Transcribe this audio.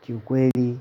Kiukweli